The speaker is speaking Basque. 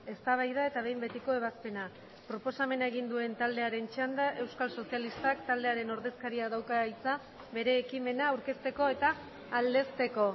eztabaida eta behin betiko ebazpena proposamena egin duen taldearen txanda euskal sozialistak taldearen ordezkariak dauka hitza bere ekimena aurkezteko eta aldezteko